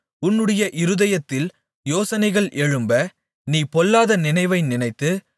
உன்னுடைய இருதயத்தில் யோசனைகள் எழும்ப நீ பொல்லாத நினைவை நினைத்து